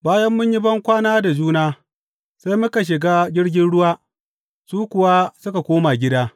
Bayan mun yi bankwana da juna, sai muka shiga jirgin ruwa, su kuwa suka koma gida.